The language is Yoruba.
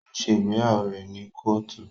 O ṣe ìgbéyàwó rẹ ni Kóòtù